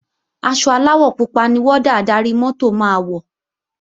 Aṣọ aláwọ̀ pupa ni wọ́dà adarí-mọ́tò máa wọ̀